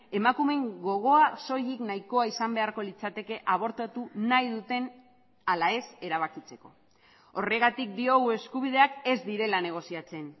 emakumeen gogoa soilik nahikoa izan beharko litzateke abortatu nahi duten ala ez erabakitzeko horregatik diogu eskubideak ez direla negoziatzen